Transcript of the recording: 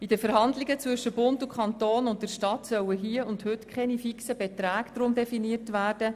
In den Verhandlungen zwischen Bund, Kanton und Stadt sollen hier und heute deshalb keine fixen Beträge definiert werden.